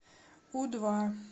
у два